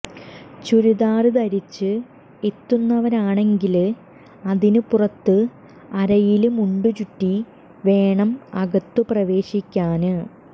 ചുരിദാര് ധരിച്ച് എത്തുന്നവരാണെങ്കില് അതിനു പുറത്ത് അരയില് മുണ്ട് ചുറ്റി വേണം അകത്തു പ്രവേശിക്കാന്